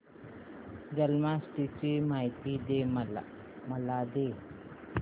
जन्माष्टमी ची माहिती मला दे